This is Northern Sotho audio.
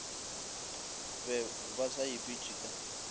be ba sa ipitše ka